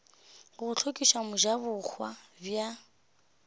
go go hlokiša mojabohwa bja